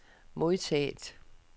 modtaget